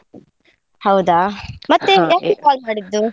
ಹೌದಾ? ಯಾಕೆ call ಮಾಡಿದ್ದು?